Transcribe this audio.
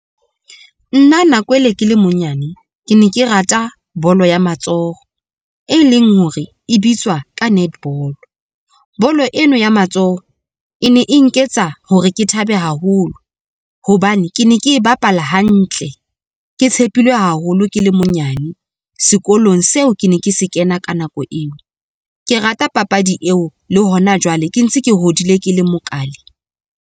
Nna nako e le ke le monyane ke ne ke rata bolo ya matsoho, e leng hore e bitswa ka netball bolo eno ya matsoho e ne e nketsa hore ke thabe haholo hobane ke ne ke e bapala hantle. Ke tshepilwe haholo ke le monyane sekolong seo ke ne ke se kena ka nako eo, ke rata papadi eo le hona jwale ke ntse ke hodile ke le mokale.